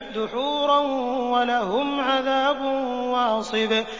دُحُورًا ۖ وَلَهُمْ عَذَابٌ وَاصِبٌ